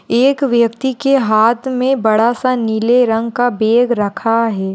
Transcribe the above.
एक व्यक्ति के हात मे बड़ा सा नीले रंग का बेग रखा है।